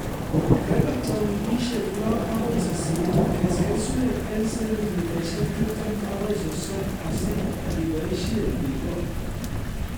Kokebata wikishek lo agoi sisit ,kes keswek eng sentimitaishek tiptem agoi sosom asi iboisie ikol